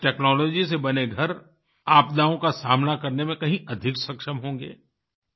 इस टेक्नोलॉजी से बने घर आपदाओं का सामना करने में कहीं अधिक सक्षम होंगे